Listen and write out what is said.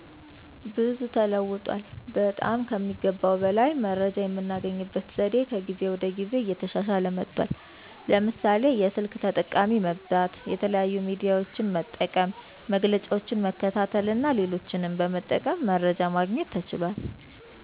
ብዙ ተለውጧል። በጠም ከሚገባው በላይ መረጃየምናገኝበት ዘዴ ከጊዜ ወደ ጊዜ እየተሻሻለ መጥቷል። ለምሳሌ፦ የስልክ ተጠቃሚ መብዛት፣ የተለያዩ ሚዲያዎች መጠቀም፣ መግለጫዎችን መከታተልና ሌሎችንም በመጠቀም መረጃ ማግኘት ተችሏል።